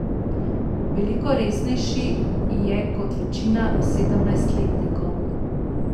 Veliko resnejši je kot večina sedemnajstletnikov.